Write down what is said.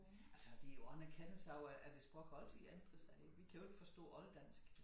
Altså det jo også en erkendelse af at at et sprog altid ændrer sig. Vi kan jo ikke forstå olddansk